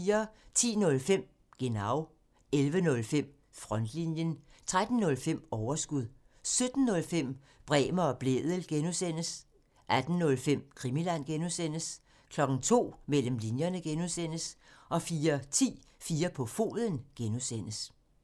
10:05: Genau 11:05: Frontlinjen 13:05: Overskud 17:05: Bremer og Blædel (G) 18:05: Krimiland (G) 02:00: Mellem linjerne (G) 04:10: 4 på foden (G)